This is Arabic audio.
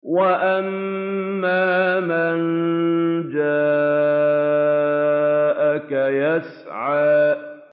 وَأَمَّا مَن جَاءَكَ يَسْعَىٰ